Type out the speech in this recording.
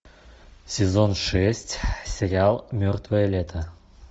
сезон шесть сериал мертвое лето